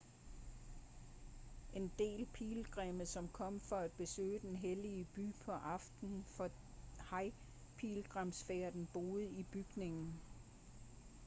en del pilgrimme som kom for at besøge den hellige by på aftenen for hajj-pilgrimsfærden boede i bygningen